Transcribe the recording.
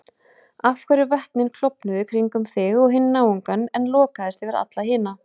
Af hverju vötnin klofnuðu kringum þig og hinn náungann en lokaðist yfir alla hina?